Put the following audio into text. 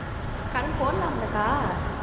கரும்பு போடலாம்லக்கா